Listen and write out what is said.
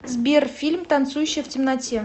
сбер фильм танцующая в темноте